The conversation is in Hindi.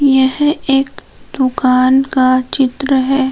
यह एक दुकान का चित्र है।